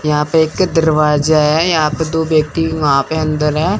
यहां पे एक दरवाजा है यहां पे दो व्यक्ति वहाॅं पे अंदर हैं।